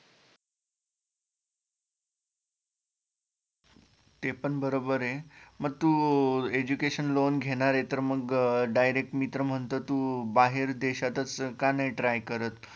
ते पण बरोबर य मग तु education loan घेणारे तर मग direct मी तर म्हणतो तू बाहेर देशातच का नाही try करत?